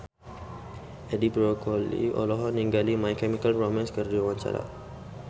Edi Brokoli olohok ningali My Chemical Romance keur diwawancara